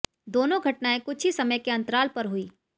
दोनों घटनायें कुछ ही समय के अंतराल पर हुईं